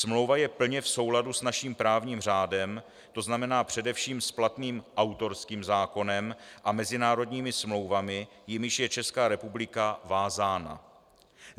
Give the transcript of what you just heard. Smlouva je plně v souladu s naším právním řádem, to znamená především s platným autorským zákonem a mezinárodními smlouvami, jimiž je Česká republika vázána.